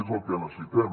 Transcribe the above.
és el que necessitem